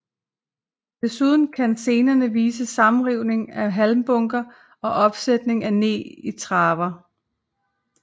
Desuden kan scenerne vise sammenrivning af halmbunker og opsætning af neg i traver